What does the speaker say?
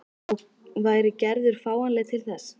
Og væri Gerður fáanleg til þess?